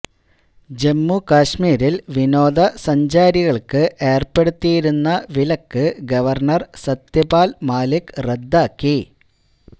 ജമ്മു കശ്മീരിൽ വിനോദസഞ്ചാരികൾക്ക് ഏർപ്പെടുത്തിയിരുന്ന വിലക്ക് ഗവർണ്ണർ സത്യപാൽ മാലിക് റദ്ദാക്കി